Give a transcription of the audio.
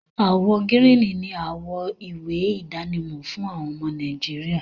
Àwọ gírìní ni àwọ ìwé idánimọ̀ fún àwọn ọmọ Nàìjíríà